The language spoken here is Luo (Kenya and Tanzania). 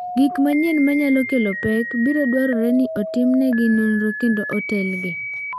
Gik manyien ma nyalo kelo pek, biro dwarore ni otimnegi nonro kendo otelgi.